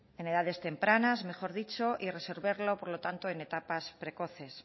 en edades tempranas mejor dicho y resolverlo por lo tanto en etapas precoces